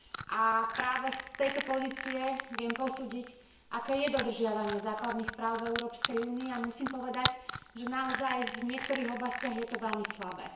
A práve z tejto pozície viem posúdiť, aké je dodržiavanie základných práv v Európskej únii a musím povedať, že naozaj v niektorých oblastiach je to veľmi slabé.